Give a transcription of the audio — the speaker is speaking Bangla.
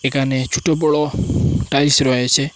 এখানে ছোট বড়ো টাইলস রয়েছে।